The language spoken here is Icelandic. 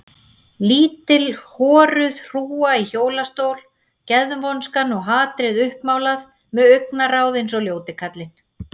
Lítil horuð hrúga í hjólastól, geðvonskan og hatrið uppmálað með augnaráð eins og ljóti kallinn.